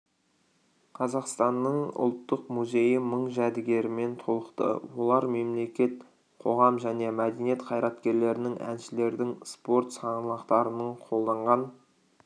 қазақстанның ұлттық музейі мың жәдігермен толықты олар мемлекет қоғам және мәдениет қайраткерлерінің әншілердің спорт саңлақтарының қолданған